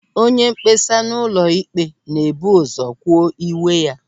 Onyemkpesa n'ụlọ ikpe na-ebu ụzọ kwuo iwe ya.